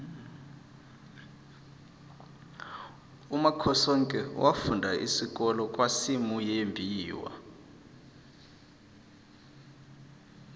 umakhosoke wafunda isikolo kwasimuyembiwa